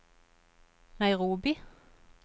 Nairobi